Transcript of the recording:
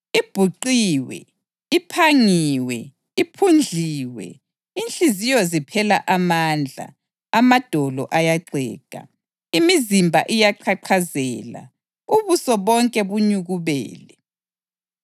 Ibhuqiwe, iphangiwe, iphundliwe! Inhliziyo ziphela amandla, amadolo ayaxega, imizimba iyaqhaqhazela, ubuso bonke bunyukubele.